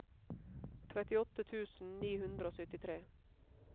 trettiåtte tusen ni hundre og syttitre